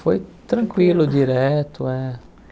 Foi tranquilo, direto. É